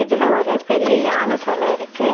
இதுல ஒரு பெரிய யான செல இருக்கு.